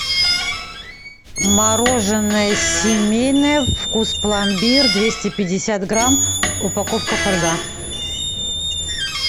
мороженое семейное вкус пломбир двести пятьдесят грамм упаковка фольга